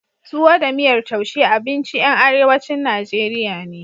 Tuwo da miyar taushe abinci ƴan arewacin Najeriya ne.